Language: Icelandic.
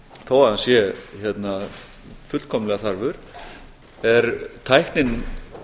þó að hann sé fullkomlega þarfur er tæknin